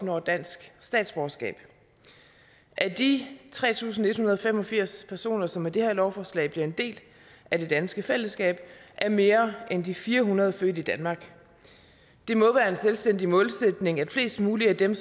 opnår dansk statsborgerskab af de tre tusind en hundrede og fem og firs personer som med det her lovforslag bliver en del af det danske fællesskab er mere end de fire hundrede født i danmark det må være en selvstændig målsætning at flest mulige af dem